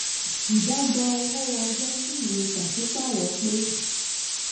ìdàgbà owó: ọjọ́ tí ìwé pàṣípààrọ̀ pé.